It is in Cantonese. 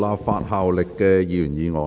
無立法效力的議員議案。